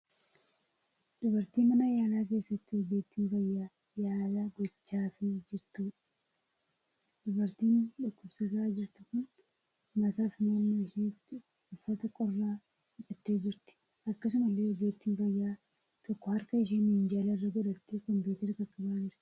Dubartii mana yaalaa keessatti ogeettiin fayyaa yaala gochaafii jirtuudha. Dubartiin dhukkubsataa jirtu kun mataa fi morma isheetti uffata qorraa hidhattee jirti. Akkasumallee ogeettiin fayyaa tokko harka ishee minjaala irra godhattee 'kompiteera' qaqqabaa jirti.